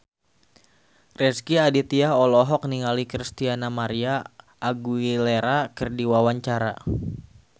Rezky Aditya olohok ningali Christina María Aguilera keur diwawancara